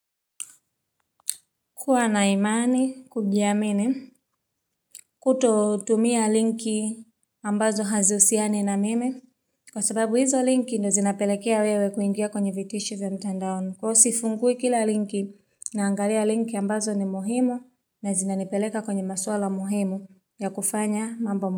Kuwa na imani kujiamini kutotumia linki ambazo hazihusiani na mimi. Kwa sababu hizo linki ndo zinapelekea wewe kuingia kwenye vitisho vya mtandaoni. Na usifungue kila linki naangalia linki ambazo ni muhimu na zinanipeleka kwenye maswala muhimu na kufanya mambo.